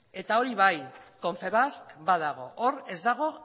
eta hori bai confebask badago hor ez dago